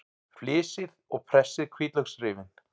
Flysjið og pressið hvítlauksrifin.